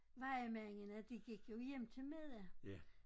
Mange af mændene de gik jo hjem til middag